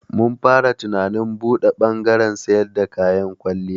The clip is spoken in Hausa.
Mun fara tunanin buɗe bangaren siyar da kayan kwalliya.